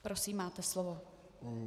Prosím, máte slovo.